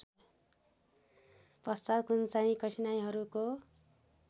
पश्चात् कुनचाहिँ कठिनाइहरूको